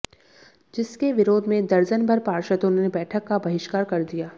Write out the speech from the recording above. जिसके विरोध में दर्जनभर पार्षदों ने बैठक का बहिष्कार कर दिया